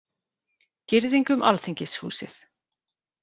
Girðing um Alþingishúsið